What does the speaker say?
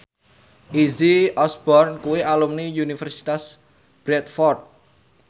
Izzy Osborne kuwi alumni Universitas Bradford